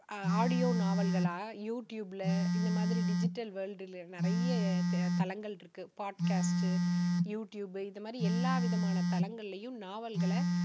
audio நாவல்களாக you tube ல இந்த மாதிரி digital world ல நிறைய த~தளங்கள் இருக்கு. பாட்காஸ்ட், யூ டியூப் இந்த மாதிரி எல்லா விதமான தளங்களிலேயும் நாவல்களை